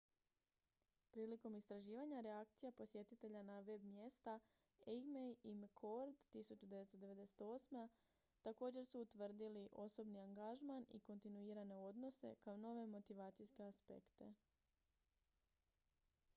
"prilikom istraživanja reakcija posjetitelja na web-mjesta eighmey i mccord 1998. također su utvrdili "osobni angažman" i "kontinuirane odnose" kao nove motivacijske aspekte.